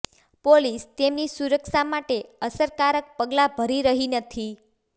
police તેમની સુરક્ષા માટે અસરકારક પગલા ભરી રહી નથી